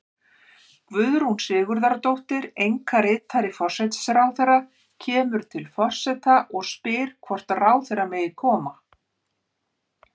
Guðrún Sigurðardóttir, einkaritari forsætisráðherra, kemur til forseta og spyr hvort ráðherra megi koma.